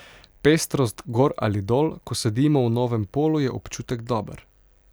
Pestrost gor ali dol, ko sedimo v novem polu, je občutek dober.